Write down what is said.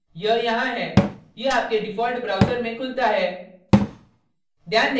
यह यहाँ है यह आपके default browser में खुलता है